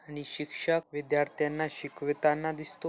आणि शिक्षक विध्यर्थ्यांना शिकविताना दिसतो.